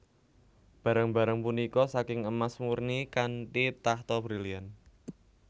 Barang barang punika saking emas murni kanthi tahta berlian